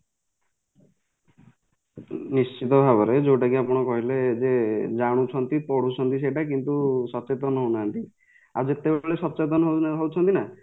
ନିଶ୍ଚିନ୍ତ ଭାବରେ ଯୋଉଟାକି ଆପଣ କହିଲେ ଜେ ଜାଣୁଛନ୍ତି ପଢୁଛନ୍ତି ସେଟା କିନ୍ତୁ ସଚେତନ ହଉନାହାନ୍ତି ଆଉ ଯେତେବେଳେ ସଚେତନ ହଉଛନ୍ତିନା